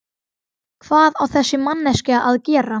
Hvað á þessi manneskja að gera?